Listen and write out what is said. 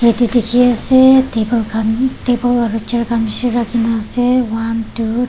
Ke dekhi ase table khan table aro chair khan beshi rakhi na ase one two --